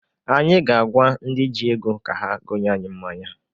Anyị ga-agwa ndị ji ego ka ha gonye anyị mmanya.